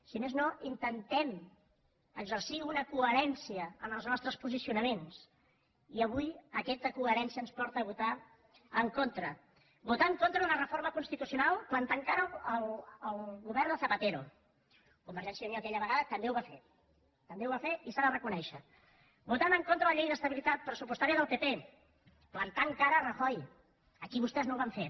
si més no intentem exercir una coherència en els nostres posicionaments i avui aquesta coherència ens porta a votar en contra votar en contra d’una reforma constitucional i plantar cara al govern de zapatero convergència i unió aquella vegada també ho va fer també ho va fer i s’ha de reconèixer votar en contra de la llei d’estabilitat pressupostària del pp i plantar cara a rajoy aquí vostès no ho van fer